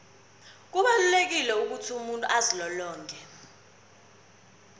kubalulekile ukuthi umuntu azilolonge